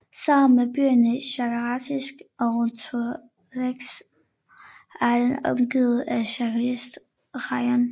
Sammen med byerne Shakhtarsk og Torez er den omgivet af Shakhtarsk rajon